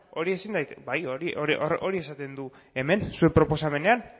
bai hori esan du zuen proposamenean